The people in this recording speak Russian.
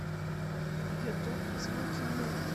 ютуб звуки му